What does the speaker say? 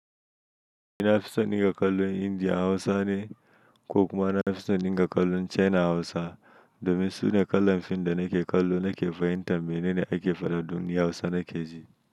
Ina fisonin ga kallo India Hausa ne, ko kuma ina fisonin ga kallo China Hausa domin su ne kallan fim da nake kallo nake fahimtar mene ne ake faɗa donni Hausa nake ji.